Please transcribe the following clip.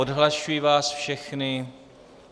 Odhlašuji vás všechny.